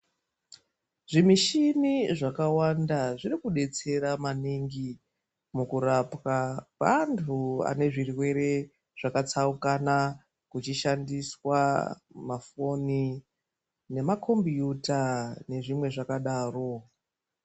Zvi mishini zvaka wanda zviri kudetsera maningi muku rapwa kwe antu ane zvirwere zvaka tsaukana kuchi shandiswa mafoni nema kombiyuta nezvimwe zvakadaro.